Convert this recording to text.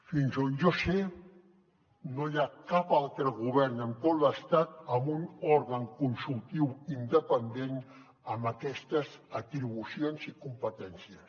fins on jo sé no hi ha cap altre govern en tot l’estat amb un òrgan consultiu independent amb aquestes atribucions i competències